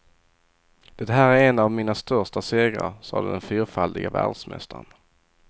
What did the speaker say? Det här är en av mina största segrar, sade den fyrfaldige världsmästaren.